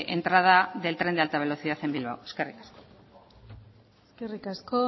entrada del tren de alta velocidad en bilbao eskerrik asko eskerrik asko